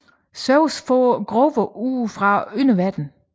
Zeus får Grover ud fra underverdenen